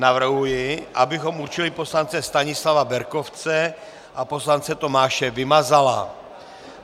Navrhuji, abychom určili poslance Stanislava Berkovce a poslance Tomáše Vymazala.